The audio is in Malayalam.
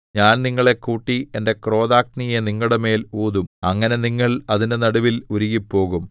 ഞാൻ നിങ്ങളെ കൂട്ടി എന്റെ ക്രോധാഗ്നിയെ നിങ്ങളുടെമേൽ ഊതും അങ്ങനെ നിങ്ങൾ അതിന്റെ നടുവിൽ ഉരുകിപ്പോകും